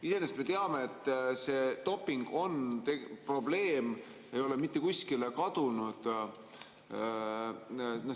Iseenesest me teame, et doping on probleem, see ei ole mitte kuskile kadunud.